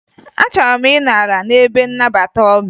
Achọrọ m ịnọ ala n'ebe nnabata ọbịa